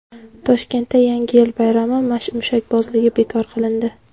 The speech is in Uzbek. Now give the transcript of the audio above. Toshkentda Yangi yil bayrami mushakbozligi bekor qilindi.